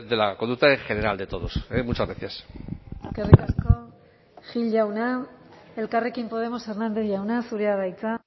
la conducta en general de todos muchas gracias eskerrik asko gil jauna elkarrekin podemos hernández jauna zurea da hitza